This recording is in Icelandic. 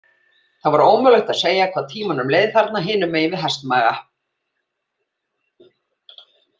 Það var ómögulegt að segja hvað tímanum leið þarna hinum megin við hestsmaga.